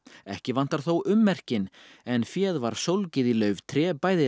ekki vantar þó ummerkin en féð var sólgið í lauftré bæði